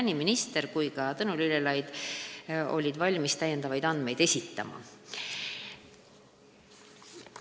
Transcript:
Nii minister kui ka Tõnu Lillelaid olid valmis täiendavaid andmeid esitama.